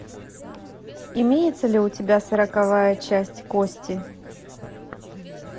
имеется ли у тебя сороковая часть кости